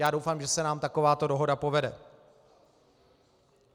Já doufám, že se nám takováto dohoda povede.